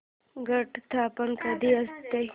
घट स्थापना कधी असते